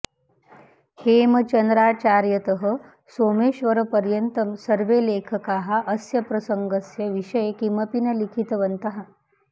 हेमचन्द्राचार्यतः सोमेश्वरपर्यन्तं सर्वे लेखकाः अस्य प्रसङ्गस्य विषये किमपि न लिखितवन्तः